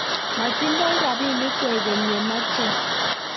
moting'doi robinik kwekeny ye mechei